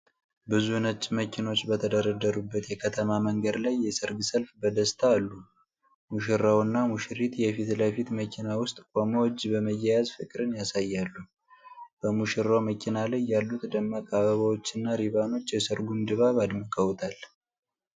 ብዙ ነጭ መኪኖች በተደረደሩበት የከተማ መንገድ ላይ የሠርግ ሰልፍ በደስታ አሉ። ሙሽራውና ሙሽሪት የፊት ለፊት መኪና ውስጥ ቆመው እጅ በመያያዝ ፍቅርን ያሳያሉ። በሙሽራው መኪና ላይ ያሉት ደማቅ አበባዎችና ሪባኖች የሠርጉን ድባብ አደምቀውታል።